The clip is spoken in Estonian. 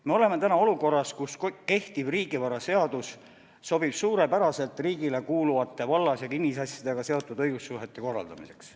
Me oleme täna olukorras, kus kehtiv riigivaraseadus sobib suurepäraselt riigile kuuluvate vallas- ja kinnisasjadega seotud õigussuhete korraldamiseks.